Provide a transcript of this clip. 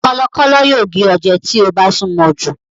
Kọ̀lọ̀kọ́lọ̀ yóò gé ọ jẹ tí o bá súnmọ jù.